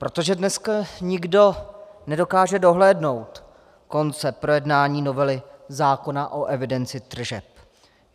Protože dneska nikdo nedokáže dohlédnout konce projednání novely zákona o evidenci tržeb.